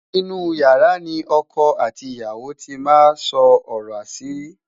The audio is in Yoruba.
inú yàrá ní ọkọ àti ìyàwó tí má sọ ọrọ asiri